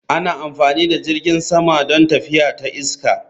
Ana amfani da jirgin sama don tafiya ta iska